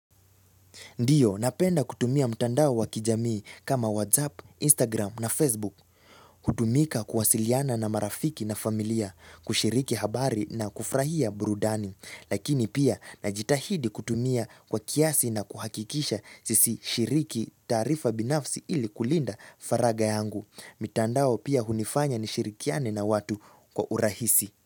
Ndiyo, napenda kutumia mtandao wa kijamii kama WhatsApp, Instagram na Facebook. Hutumika kuwasiliana na marafiki na familia, kushiriki habari na kufrahia burudani. Lakini pia, najitahidi kutumia kwa kiasi na kuhakikisha sisishiriki tarifa binafsi ili kulinda faraga yangu. Mtandao pia hunifanya nishirikiane na watu kwa urahisi.